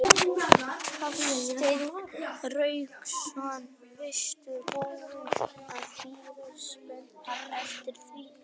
Hafsteinn Hauksson: Varstu búinn að bíða spenntur eftir því að snjórinn kæmi?